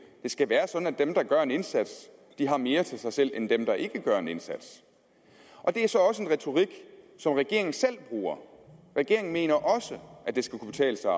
skal være sådan at dem der gør en indsats har mere til sig selv end dem der ikke gør en indsats det er så også en retorik som regeringen selv bruger regeringen mener også at det skal kunne betale sig